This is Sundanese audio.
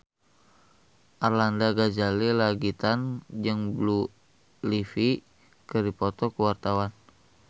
Arlanda Ghazali Langitan jeung Blue Ivy keur dipoto ku wartawan